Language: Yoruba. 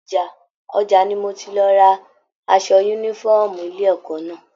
Ọjà ní mò tí lọ tí rà aṣọ yúnífọ̀ọ́mù ilé ẹ̀kọ́ náà.